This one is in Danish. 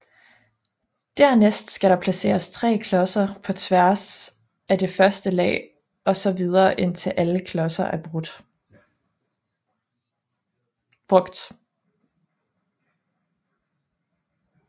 Dernæst skal der placeres 3 klodser på tværs af det første lag og så videre indtil alle klodser er brugt